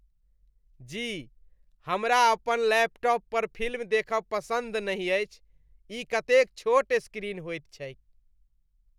जी। हमरा अपन लैपटॉप पर फिल्म देखब पसन्द नहि अछि। ई कतेक छोट स्क्रीन होइत छैक ।